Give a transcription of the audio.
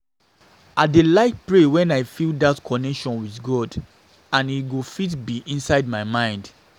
I dey like pray wen I feel dat connection with God and e go fit be inside my mind